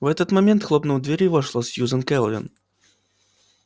в этот момент хлопнув дверью вошла сьюзен кэлвин